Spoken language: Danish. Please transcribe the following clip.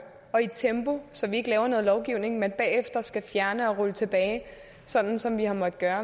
og i et tempo så vi ikke laver noget lovgivning man bagefter skal fjerne og rulle tilbage sådan som vi har måttet gøre